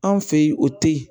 Anw fɛ yen o tɛ ye